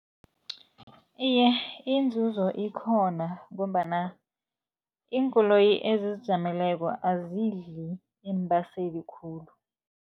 Iye, inzuzo ikhona, ngombana iinkoloyi ezizijameleko azidli iimbaseli khulu.